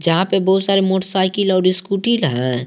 यहां पे बहुत सारी मोटरसाइकिल और स्कूटी ना है।